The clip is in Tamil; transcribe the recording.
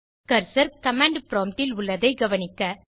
கர்சர் கமாண்ட் ப்ராம்ப்ட் இல் உள்ளதை கவனிக்க